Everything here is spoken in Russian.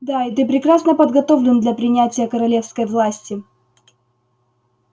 да и ты прекрасно подготовлен для принятия королевской власти